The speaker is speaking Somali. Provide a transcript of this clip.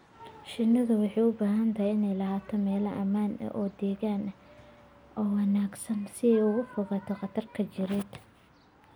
Shinnidu waxay u baahan tahay inay lahaato meelo ammaan ah oo deegaan ahaan u wanaagsan si ay uga fogaato khataraha jireed.